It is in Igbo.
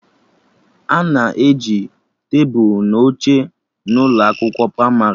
Ana e ji tebụl na oche na ụlọ akwụkwọ pramarị